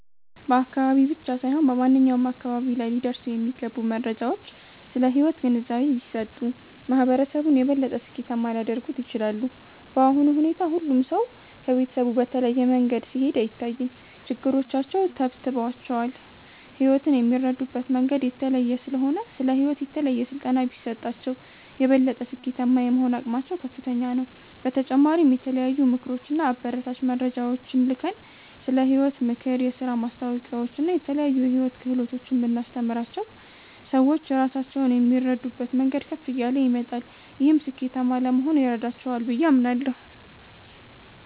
በአካባቢ ብቻ ሳይሆን በማንኛውም አካባቢ ላይ ሊደርሱ የሚገቡ መረጃዎች ስለ ሕይወት ግንዛቤ ቢሰጡ፣ ማህበረሰቡን የበለጠ ስኬታማ ሊያደርጉት ይችላሉ። በአሁኑ ሁኔታ ሁሉም ሰው ከቤተሰቡ በተለየ መንገድ ሲሄድ አይታይም፤ ችግሮቻቸው ተብትበዋቸዋል። ሕይወትን የሚረዱበት መንገድ የተለየ ስለሆነ፣ ስለ ሕይወት የተለየ ስልጠና ቢሰጣቸው፣ የበለጠ ስኬታማ የመሆን አቅማቸው ከፍተኛ ነው። በተጨማሪም የተለያዩ ምክሮች እና አበረታች መረጃዎችን ልከን፣ ስለ ሕይወት ምክር፣ የሥራ ማስታወቂያዎችን እና የተለያዩ የሕይወት ክህሎቶችን ብናስተምራቸው፣ ሰዎች ራሳቸውን የሚረዱበት መንገድ ከፍ እያለ ይመጣል። ይህም ስኬታማ ለመሆን ይረዳቸዋል ብዬ አምናለሁ።